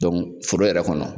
foro yɛrɛ kɔnɔ.